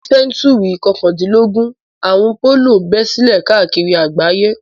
Ní sẹ́ńtúrì kọkàndínlógún, àrùn pólíò bẹ́ sílẹ̀ káàkiri àgbáyé.